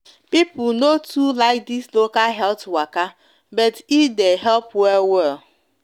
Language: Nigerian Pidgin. people no too like this local health waka bet e de help well well